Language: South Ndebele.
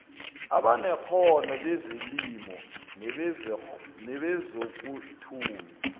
abanekghono bezelimo nebezokuthiya